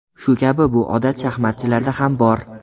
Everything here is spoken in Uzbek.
Shu kabi bu odat shaxmatchilarda ham bor.